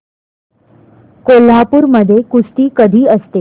कोल्हापूर मध्ये कुस्ती कधी असते